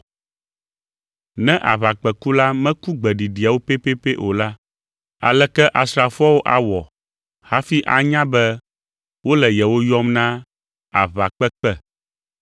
Ne aʋakpẽkula meku gbeɖiɖiawo pɛpɛpɛ o la, aleke asrafoawo awɔ hafi anya be wole yewo yɔm na aʋakpekpe?